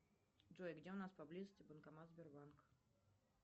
джой где у нас поблизости банкомат сбербанка